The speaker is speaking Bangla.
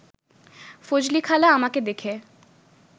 ফজলিখালা আমাকে দেখে